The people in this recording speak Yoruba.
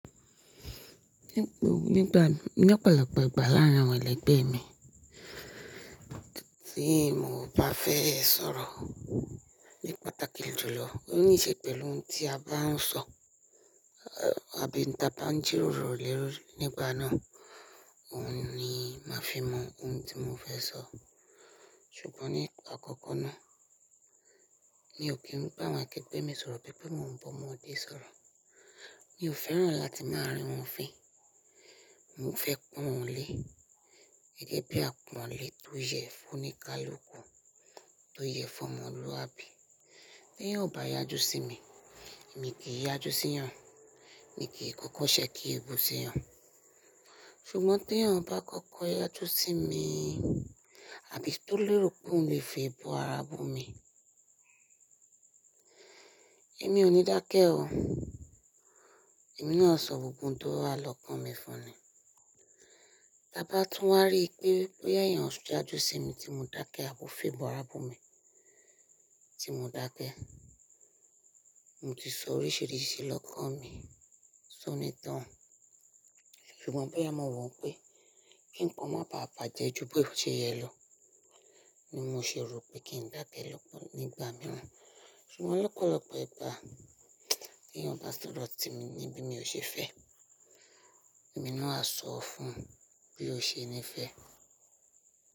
Ní gb- nígbà nipa ipa ìgbà láàárín àwọn ẹlẹgbẹ́ mi, tí mò bá fẹ́ sọ̀rọ̀ ní patàkì julọ, ó níí ṣe pẹ̀lú ohun tí a bá ń sọ, ah àbí n ta bá ń jíróro lé lori nígbà náà, òun ni màá fi mọ ohun tí mò fẹ́ sọ. Ṣùgbọ́n ní okọ́kọ́ náà, mi ò kí n bá àwọn akẹgbẹ́ mi sọ̀rọ̀ bí pé mò ń bọ̀mode sọ̀rọ̀. Mi ò fẹ́ràn láti máa rín wọ́n fín. Mò fẹ́ pọ́n wọ́n lé. Gẹ́gẹ́ bí àpọ̀n lé tó yẹ fún oníkálukú, tó yẹ fún ọmọlúwàbí. Bí èyàn ò bá yájú sí mi, èmi kì í yájú síyan Mi kì í kọ́kọ́ ṣẹ́ke eebu síyan. Ṣùgbọ́n teyàn bá kọ́kọ́ yájú sí mi i, àbí tó lérò pòun lè febọ ara bumì, èmi ò ní dákẹ́ o. Èmi náà o ṣọ gbogbo ohun tó wa lọ́kàn mi fún ni. Ta bá tún wá rí pé, bóyá èyàn ṣì yájú sí mi tí mò ń dákẹ́ àbó febu ara bumì tí mò dákẹ́, mò ti sọ oríṣiríṣi lọ́kàn mi sọ́nì toun. Ṣùgbọ́n bóyá mo wọ̀ pé kí nkan o mọ́ bà báàjẹ́ ju bí ó ṣe yẹ lọ, ni mò ṣe rò pé kí n dákẹ́ lọ́ nígbà mìíràn. Ṣùgbọ́n lọ́pọ̀lọpọ̀ ìgbà gpan, tí èyàn bá sọ̀rọ̀ sí mi ní bí mi ò ṣe fẹ́, èmi náà a sọ fun bí ó ṣe ní fẹ́.